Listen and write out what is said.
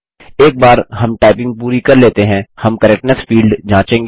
एक बार हम टाइपिंग पूरी कर लेते हैं हम करेक्टनेस फील्ड जाँचेंगे